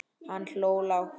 Hann hló lágt.